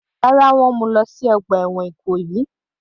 Rárá, wọ́n mú u lọ sí ọgbà ẹ̀wọ̀n Ìkòyí.